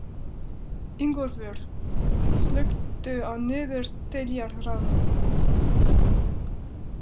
Ingólfur, slökktu á niðurteljaranum.